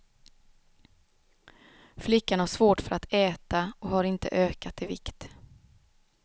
Flickan har svårt för att äta och har inte ökat i vikt.